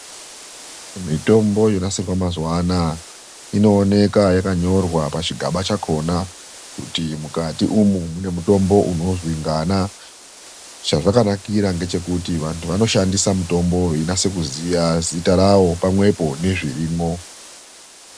Mitombo yonasirwa mazuva anaa inooneka yakanyorwa pachigaba chakona kuti mukati umwe mune mutombo unozwi ngana. Chazvakanakira ngechekuti vantu vanoshandisa mutombo veinasekuziya zita ravo pamwepo nezvirimwo.